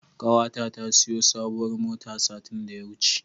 Ƙawata ta siyo sabuwar mota satin da ya wuce.